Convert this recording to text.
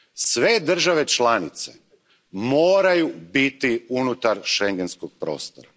Sve države članice moraju biti unutar schengenskog prostora.